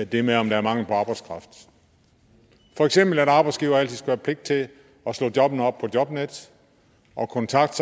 det med om der er mangel på arbejdskraft for eksempel at arbejdsgivere altid skulle have pligt til at slå jobbene op på jobnet og kontakte